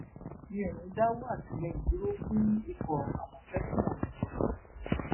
mi ò ní í dáwó àtìlẹyìn dúró fún ikọ àmọtẹkùn ondo